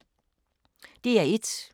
DR1